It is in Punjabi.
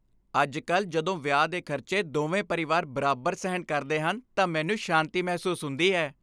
ਅੱਜ ਕੱਲ੍ਹ ਜਦੋਂ ਵਿਆਹ ਦੇ ਖ਼ਰਚੇ ਦੋਵੇਂ ਪਰਿਵਾਰ ਬਰਾਬਰ ਸਹਿਣ ਕਰਦੇ ਹਨ ਤਾਂ ਮੈਨੂੰ ਸ਼ਾਂਤੀ ਮਹਿਸੂਸ ਹੁੰਦੀ ਹੈ